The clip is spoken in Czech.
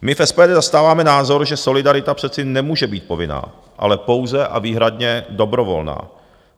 My v SPD zastáváme názor, že solidarita přece nemůže být povinná, ale pouze a výhradně dobrovolná.